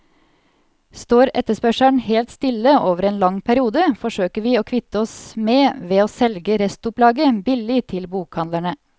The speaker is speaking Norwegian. Står etterspørselen helt stille over en lang periode, forsøker vi å kvitte oss med ved å selge restopplaget billig til bokhandlene.